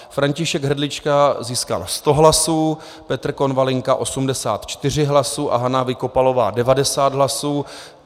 František Hrdlička získal 100 hlasů, Petr Konvalinka 84 hlasů a Hana Vykopalová 90 hlasů.